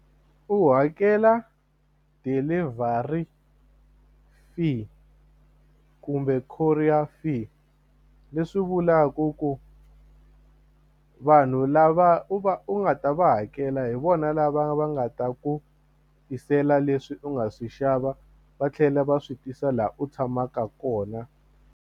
U hakela delivery fee kumbe courier fee leswi vulaku ku vanhu lava u va u nga ta va hakela hi vona lava va nga ta ku tisela leswi u nga swi xava va tlhela va swi tisa laha u tshamaka kona.